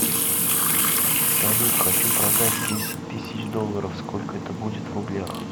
салют хочу продать десять тысяч долларов сколько это будет в рублях